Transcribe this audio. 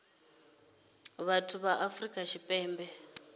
dza vhathu ya afrika tshipembe